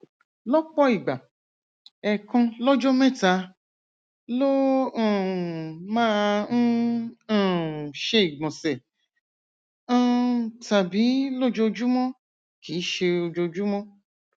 lọpọ ìgbà ẹẹkan lọjọ mẹta ló um máa ń um ṣe ìgbọnsẹ um tàbí lójoojúmọ kì í ṣe ojoojúmọ